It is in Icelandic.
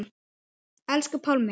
Elsku Pálmi.